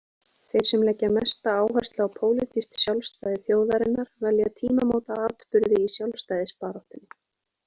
Þeir sem leggja mesta áherslu á pólitískt sjálfstæði þjóðarinnar velja tímamótaatburði í sjálfstæðisbaráttunni.